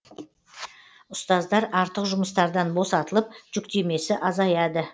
ұстаздар артық жұмыстардан босатылып жүктемесі азаяды